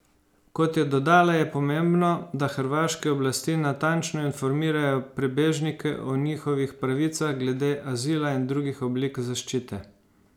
Kot je dodala, je pomembno, da hrvaške oblasti natančno informirajo prebežnike o njihovih pravicah glede azila in drugih oblik zaščite.